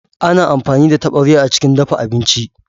Ana amfani da taɓarya a cikin dafa abinci.